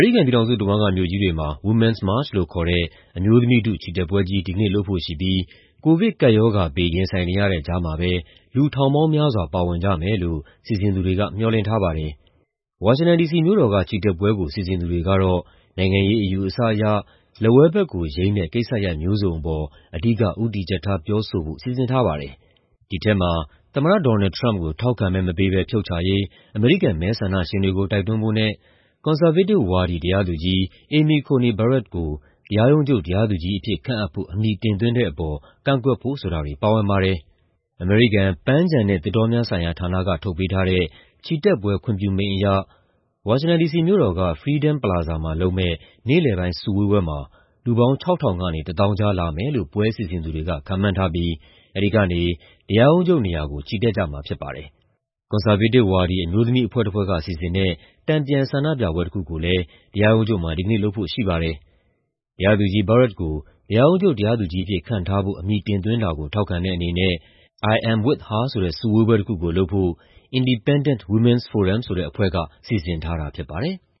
ရိကန်ပြည်ထောင်စုတဝန်းက မြို့ကြီးတွေမှာ Women's March လို့ခေါ်တဲ့ အမျိုးသမီးထု ချီတက်ပွဲကြီး ဒီကနေ့လုပ်ဖို့ရှိပြီး ကိုဗစ်ကပ်ရောဂါဘေး ရင်ဆိုင်နေရတဲ့ ကြားမှာပဲ လူထောင်ပေါင်းများစွာ ပါဝင်ကြမယ်လို့ စီစဉ်သူတွေက မျှော်လင့်ထားပါတယ်။ ဝါရှင်တန်ဒီစီမြို့တော်က ချီတက်ပွဲကို စီစဉ်သူတွေကတော့ နိုင်ငံရေးအယူအဆအရ လက်ဝဲဘက်ကိုယိမ်းတဲ့ ကိစ္စရပ်မျိုးစုံအပေါ် အဓိက ဦးတည်ချက်ထား ပြောဆိုဖို့ စီစဉ်ထားပါတယ်။ ဒီထဲမှာ သမ္မတ Donald Trump ကို ထောက်ခံမဲမပေးဘဲ ဖြုတ်ချရေး အမေရိကန် မဲဆန္ဒရှင်တွေကို တိုက်တွန်းဖို့နဲ့ ကွန်ဆာဗေးတစ်ဝါဒီ တရားသူကြီး Amy Coney Barrett ကို တရားရုံးချုပ် တရားသူကြီးအဖြစ်ခန့်ဖို့ အမည်တင်သွင်းတဲ့အပေါ် ကန့်ကွက်ဖို့ ဆိုတာတွေ ပါဝင်ပါတယ်။ အမေရိကန် ပန်းခြံနဲ့ သစ်တောများဆိုင်ရာဌာနက ထုတ်ပေးထားတဲ့ ချီတက်ပွဲ ခွင့်ပြုမိန့်အရ ဝါရှင်တန်ဒီစီမြို့တော်က Freedom Plaza မှာလုပ်မယ့် နေ့လယ်ပိုင်း စုဝေးပွဲမှာ လူပေါင်း ၆,၀၀၀ ကနေ ၁၀,၀၀၀ ကြားလာမယ်လို့ ပွဲစီစဉ်သူတွေက ခန့်မှန်းထားပြီး အဲဒီကနေ တရားရုံးချုပ်နေရာကို ချီတက်ကြမှာ ဖြစ်ပါတယ်။ ကွန်ဆာဗေးတစ်ဝါဒီ အမျိုးသမီးအဖွဲ့တဖွဲ့က စီစဉ်တဲ့ တန်ပြန်ဆန္ဒပြပွဲတခုကိုလည်း တရားရုံးချုပ်မှာ ဒီကနေ့ လုပ်ဖို့ရှိပါတယ်။ တရားသူကြီး Barrett ကို တရားရုံးချုပ် တရားသူကြီးအဖြစ် ခန့်ထားဖို့ အမည်တင်သွင်းတာကို ထောက်ခံတဲ့အနေနဲ့ "I'm With Her" ဆိုတဲ့ စုဝေးပွဲတခုကိုလုပ်ဖို့ Indepdendent Women's Forum ဆိုတဲ့အဖွဲ့က စီစဉ်ထားတာ ဖြစ်ပါတယ်။